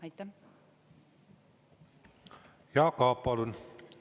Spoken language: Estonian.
Jaak Aab, palun!